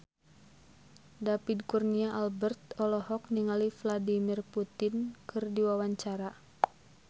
David Kurnia Albert olohok ningali Vladimir Putin keur diwawancara